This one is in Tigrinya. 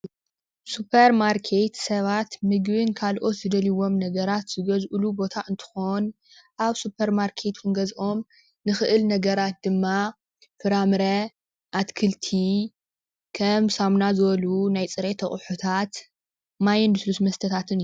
ሱፖር ማርኬት ሰባት ምግብን ካልኦት ዝደልይዎም ነገራት ዝገዝእሉ ቦታ እንትኮን ኣብ ሱፐርማርኬት ክንገዝኦም እንክእል ነገራት ድማ ፍራምረ፣ ኣትክልቲ፣ ከም ሳሙና ዝበሉ ናይ ፅሬት ኣቅሑታት ማይን ልስሉስ መስተታትን እዮም፡፡